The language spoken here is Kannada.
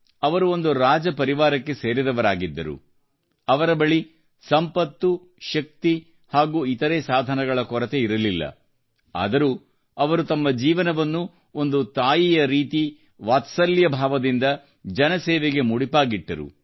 ಅವರು ಒಂದು ರಾಜಪರಿವಾರಕ್ಕೆ ಸೇರಿದವರಾಗಿದ್ದರೂ ಅವರ ಬಳಿ ಸಂಪತ್ತು ಶಕ್ತಿ ಹಾಗೂ ಇತರೆ ಸಾಧನಗಳ ಕೊರತೆ ಇರಲಿಲ್ಲವಾದರೂ ಅವರು ತಮ್ಮ ಜೀವನವನ್ನು ಒಂದು ತಾಯಿಯ ರೀತಿ ಮಾತೃವಾತ್ಸಲ್ಯದ ಭಾವದಿಂದ ಜನಸೇವೆಗೆ ಮುಡಿಪಾಗಿಟ್ಟರು